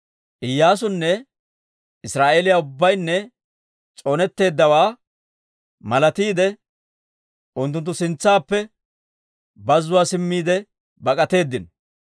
Iyyaasunne Israa'eeliyaa ubbaynne s'oonetteeddawaa malatiide, unttunttu sintsaappe bazuwaa simmiide bak'atteedino.